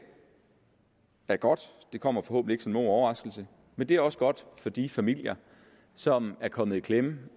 er godt det kommer forhåbentlig ikke som nogen overraskelse og det er også godt for de familier som er kommet i klemme